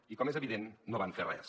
i com és evident no van fer res